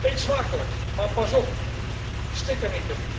Eet smakelijk, maar pas op, stik er niet in.